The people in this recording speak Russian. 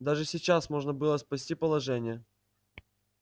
даже сейчас можно было спасти положение